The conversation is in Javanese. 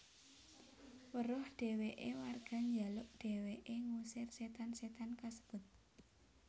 Weruh dheweke warga njaluk dheweke ngusir setan setan kasebut